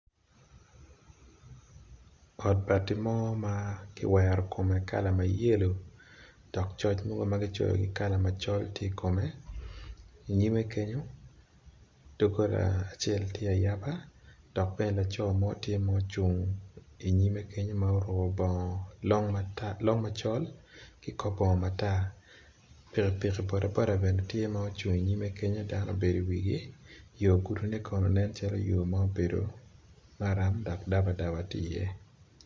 Ot mabi mo makiwero kome kala ma yelo dok coc mo tye makico kikala macol tye ikome, inyime kenyo dogola acel tye ma ayaba dok bene laco mo tye ma ocung inyime kenyo ma oruko long ma col ki kor bongo matar pikipiki bodaboda bene tye ma ocung inyime kenyo dok obedo i wigi yo gudi ne kono nen calo yo ma obedo maram dok dabadaba tye iye.